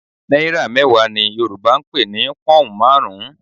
Náírà mẹ́wàá ni Yorùbá ń pè ní pọ́hùn marun-un